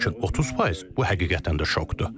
Lakin 30%, bu həqiqətən də şokdur.